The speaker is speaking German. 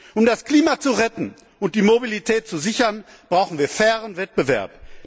Um das Klima zu retten und die Mobilität zu sichern, brauchen wir fairen Wettbewerb.